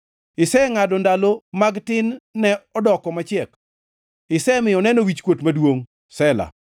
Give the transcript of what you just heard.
Isengʼado ndalo mag tin-ne odoko machiek; isemiyo oneno wichkuot maduongʼ. Sela